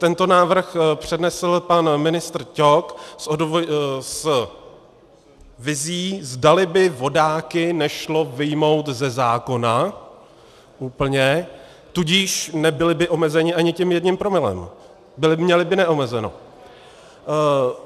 Tento návrh přednesl pan ministr Ťok s vizí, zdali by vodáky nešlo vyjmout ze zákona úplně, tudíž nebyli by omezeni ani tím jedním promile, měli by neomezeno.